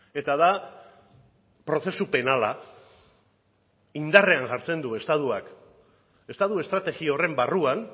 eta da prozesu penala indarrean jartzen du estatuak estatu estrategia horren barruan